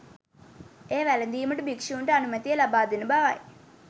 එය වැළඳීමට භික්ෂුන්ට අනුමැතිය ලබාදෙන බවයි.